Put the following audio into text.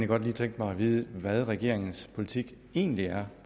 godt lige tænke mig at vide hvad regeringens politik egentlig er